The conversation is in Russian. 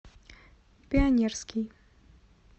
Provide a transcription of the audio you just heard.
пионерский